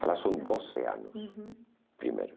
É, lá são doze anos, uhum, primeiro.